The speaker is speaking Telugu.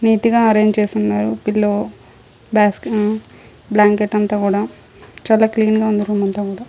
నీటిగా అరెన్ చేసి ఉన్నారు. పిల్లో బస్కె బ్లాంకెట్ అంతా కూడా చాలా క్లీన్ గా ఉంది రూమ్ అంతా మొత్తం.